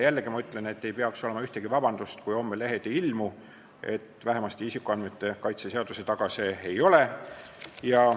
Jällegi ma ütlen, et kui homme lehed ei ilmu, siis vähemalt isikuandmete kaitse seaduse taga see ei ole.